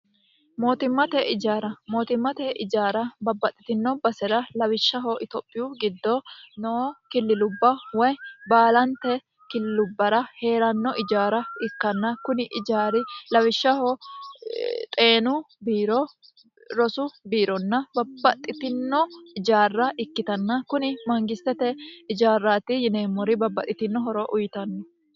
mootimmte ijaarara mootimmate ijaara babbaxxitino base'ra lawishshaho itophiyu giddo noo killilubba woy baalante kililubbara hee'ranno ijaara ikkanna kuni ijaari lawishshaho xeenu biiro rosu biironna babbaxxitino ijaarra ikkitanna kuni mangistete ijaarraati yineemmori babbaxxitino horo uyiitanno.